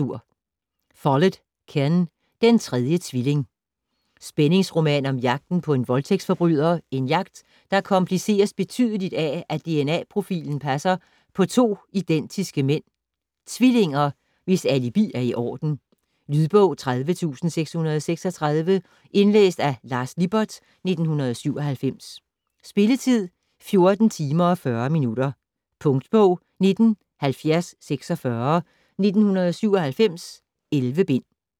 Follett, Ken: Den tredje tvilling Spændingsroman om jagten på en voldtægtsforbryder, en jagt der kompliceres betydeligt af at DNA-profilen passer på to identiske mænd - tvillinger? - hvis alibi er i orden. Lydbog 30636 Indlæst af Lars Lippert, 1997. Spilletid: 14 timer, 40 minutter. Punktbog 197046 1997. 11 bind.